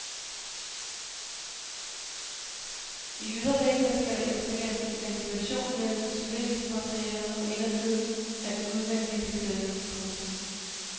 I ydervæggene skal der etableres ventilation mellem isoleringsmaterialet og indersiden af den udvendige beklædning. punktum